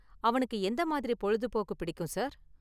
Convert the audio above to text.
அவனுக்கு எந்த மாதிரி பொழுதுபோக்கு பிடிக்கும், சார்?